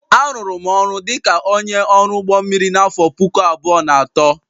Arụụrụ m ọrụ dị ka onye ọrụ ụgbọ mmiri n'afọ puku abụọ na atọ